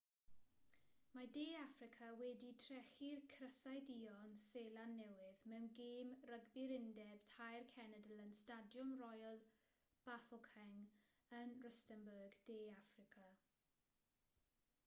mae de affrica wedi trechu'r crysau duon seland newydd mewn gêm rygbi'r undeb tair cenedl yn stadiwm royal bafokeng yn rustenburg de affrica